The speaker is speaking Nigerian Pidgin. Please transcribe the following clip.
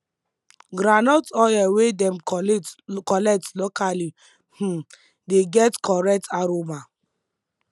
groundnut oil wey dem collate collect locally um dey get correct aroma